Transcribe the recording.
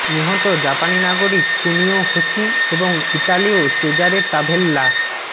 নিহত জাপানি নাগরিক কুনিও হোশি এবং ইতালীয় চেজারে তাভেল্লা